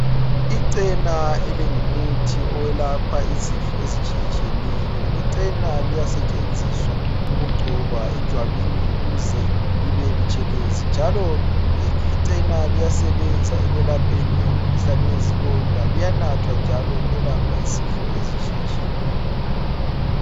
Ichena elingumuthi oyelapha izifo ezitshiye tshiyeneyo ichena liyasetshenziswa ukugcoba ejwabini ukuze libe butshelezi njalo ichena liyasebenza ekwelapheni umkhuhlane wezilonda liyanathwa njalo ukwelapha izifo ezitshiye tshiyeneyo.